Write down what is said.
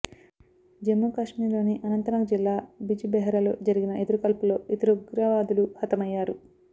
జమ్మూ కాశ్మీర్ లోని అనంతనాగ్ జిల్లా బిజ్ బెహరలో జరిగిన ఎదురుకాల్పుల్లో ఇద్దరు ఉగ్రవాదులు హతమయ్యారు